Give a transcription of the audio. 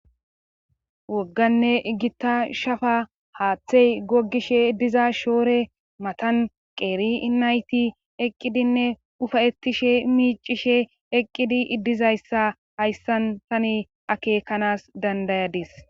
wogganne iggita shafa haaththey gogishe diza shoore matan qeeri inayti eqqidinne ufayettishe miicishe eqqidi dizayssa hayssan tani akekanas dandayadis